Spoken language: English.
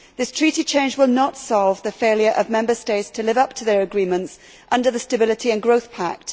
This Treaty change will not solve the failure of Member States to live up to their agreements under the Stability and Growth Pact.